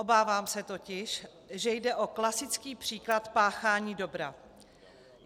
Obávám se totiž, že jde o klasický příklad páchání dobra.